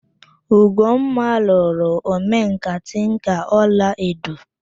Ugomma lụrụ omenkà tinka ọla edo